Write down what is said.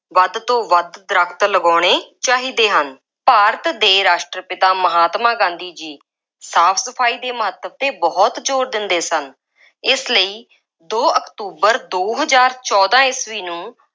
ਵੱਧ ਤੋਂ ਵੱਧ ਦਰੱਖਤ ਲਗਾਉਣੇ ਚਾਹੀਦੇ ਹਨ। ਭਾਰਤ ਦੇ ਰਾਸ਼ਟਰ-ਪਿਤਾ ਮਹਾਤਮਾ ਗਾਂਧੀ ਜੀ ਸਾਫ ਸਫਾਈ ਦੇ ਮਹੱਤਵ 'ਤੇ ਬਹੁਤ ਜ਼ੋਰ ਦਿੰਦੇ ਸਨ। ਇਸ ਲਈ ਦੋ ਅਕਤੂਬਰ ਦੋ ਹਜ਼ਾਰ ਚੋਦਾਂ ਈਸਵੀ ਨੂੰ